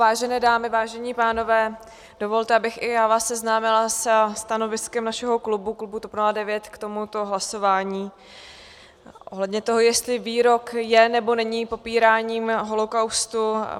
Vážené dámy, vážení pánové, dovolte, abych i já vás seznámila se stanoviskem našeho klubu, klubu TOP 09, k tomuto hlasování ohledně toho, jestli výrok je, nebo není popíráním holokaustu.